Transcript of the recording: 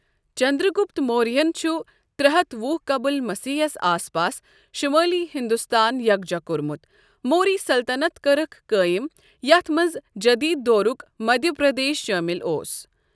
چندرگپت موریہن چھُ ترٛے ہتھ وُہ قبل مسیح یَس آس پاس شمٲلی ہندوستان یکجہ کوٚرمُت، موری سلطنت کٔرِکھ قٲئم یتھ منٛز جدید دورُک مدھیہ پردیش شٲمِل اوس۔